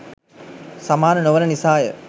සමාන නොවන නිසාය.